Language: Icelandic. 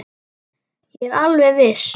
Ég er alveg viss.